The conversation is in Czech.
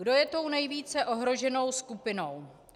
Kdo je tou nejvíce ohroženou skupinou?